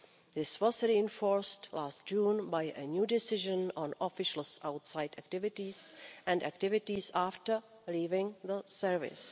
This was reinforced last June by a new decision on officials' outside activities and activities after leaving the service.